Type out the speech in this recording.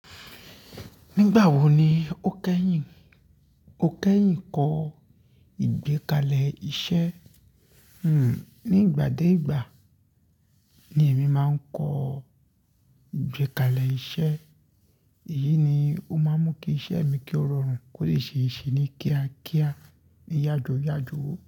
Nígbà wo ni o kẹ́yìn, o kẹ́yìn kọ́ ìgbékalẹ̀ iṣẹ́? Hmm, ní ìgbà dé ìgbà ni èmi máa ń kọ ìgbékalẹ̀ iṣẹ́. Èyí ni ó máa ń mú kí iṣẹ́ mi kí ó rọrùn, kó lè ṣe é ṣe ní kíá kíá, ní yájo yajo.